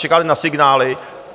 Čekáte na signály.